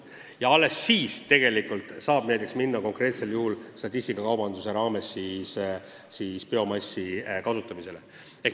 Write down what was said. Ja alles siis saab konkreetsel juhul statistikakaubanduse raames hakata biomassi kasutama.